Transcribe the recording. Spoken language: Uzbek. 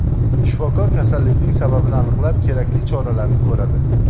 Shifokor kasallikning sababini aniqlab, kerakli choralarni ko‘radi.